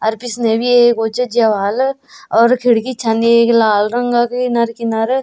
अर पिछने भी एक वु च ज्या ह्वाल और खिड़की छन येक लाल रंगक किनर किनर।